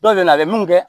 Dɔw bɛ na a bɛ mun kɛ